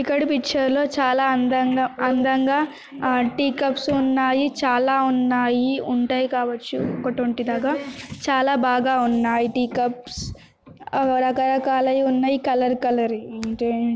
ఇక్కడ పిక్చర్ లో చాలా అందంగా అందంగా ఆ టీ కప్స్ ఉన్నాయి చాలా ఉన్నాయి ఉంటై కావచ్చు ఒక ట్వంటీ దాకా చాలా బాగా ఉన్నాయి టీ కప్స్ రకరకాలై ఉన్నాయి కలర్ కలర్ ఈ --